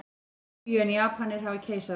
Lýbíu en Japanir hafa keisara.